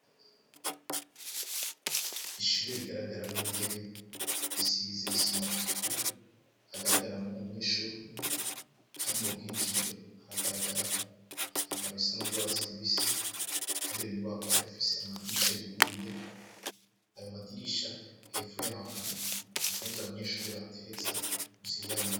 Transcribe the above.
Ishure rigaragaramwo intebe risize isima itukura hagaragaramwo umunyeshure umwe kandi mubwinjiriro hagaragara ibitambara bisa n'urwatsi rubisi kandi iyo nyubakwa irafise amdirisha yuguruye ayo madirisha hapfo yaho hari impuzu abanyeshure bateretse munsi yayo madirisha .